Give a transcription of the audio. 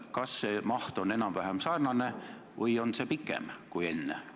Kas selle maht on enam-vähem sarnane või on see varasemast pikem?